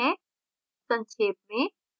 संक्षेप में